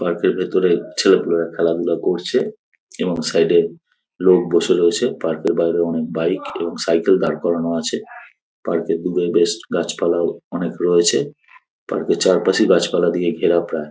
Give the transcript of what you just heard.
Park - এর ভেতরে ছেলেপুলেরা খেলাধুলা করছে এবং সাইড -এ লোক বসে রয়েছে। পার্ক এর বাইরেও অনেক বাইক এবং সাইকেল দাড় করানো আছে। পার্ক - এ দূরে বেশ গাছপালাও অনেক রয়েছে। পার্ক এর চারপাশেই গাছপালা দিয়ে ঘেরা প্রায়।